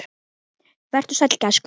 Vertu sæll, gæskur.